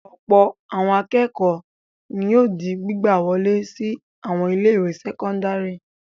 Ọ̀pọ̀ àwọn akẹ́kọ̀ọ́ ni yóò di gbígbà wọlé sí àwọn ilé-ìwé sẹ́kọ́ndárì.